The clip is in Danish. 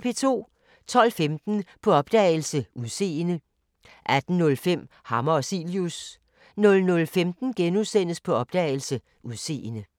12:15: På opdagelse – Udseende 18:05: Hammer og Cilius 00:15: På opdagelse – Udseende *